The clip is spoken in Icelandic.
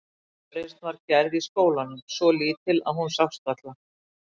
Ein uppreisn var gerð í skólanum, svo lítil að hún sást varla.